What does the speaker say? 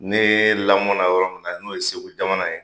Ne lamɔna yɔrɔ min na n'o ye segu jamana ye